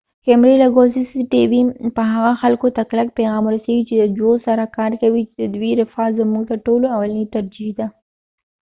د سی سی ټی وي cctv کمرو لګول به هغه خلکو ته کلک پیغام ورسیږی چې د ژوو سره کار کوي چې ددوي رفاه زموږ تر ټولو اولنی ترجیح ده